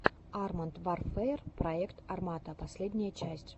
арморд варфэер проект армата последняя часть